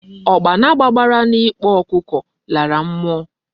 Okpana gbabara na n' ikpo okuko lara mmuo